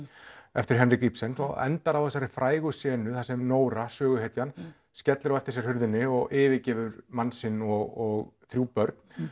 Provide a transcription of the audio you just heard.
eftir Henrik Ibsen endar á þessari frægu senu þar sem Nóra söguhetjan skellir á eftir sér hurðinni og yfirgefur mann sinn og þrjú börn